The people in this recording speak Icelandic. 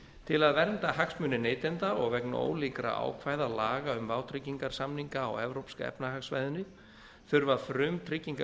til að vernda hagsmuni neytanda og vegna ólíkra ákvæða laga um vátryggingarsamninga á evrópska efnahagssvæðinu þurfa frumtryggingafélög